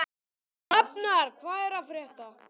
Hrafnar, hvað er að frétta?